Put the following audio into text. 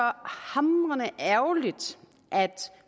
hamrende ærgerligt at